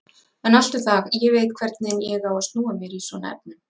En allt um það, ég veit hvernig ég á að snúa mér í svona efnum.